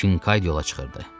Kincaid yola çıxırdı.